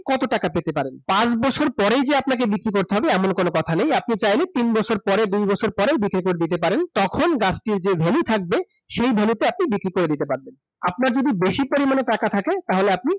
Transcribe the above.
কতো টাকা পেতে পারেন। পাঁচ বছর পরেই যে আপনাকে বিক্রি করতে হবে এমন কোন কথা নেই, আপনি চাইলে তিন বছর পরে, দুই বছর পরে বিক্রি করে দিতে পারেন। তখন গাছটির যে value থাকবে, সেই value তে আপনি বিক্রি করে দিতে পারবেন। আপনার যদি বেশি পরিমাণে টাকা থাকে তাহলে আপনি